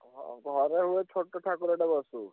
ହଁ ଘରେ ହୁଏ ଛୋଟ ଠାକୁରଟେ ବସେଇ।